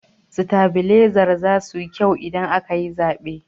Sitabilezar zasu yi kyau idan aka yi zaɓe.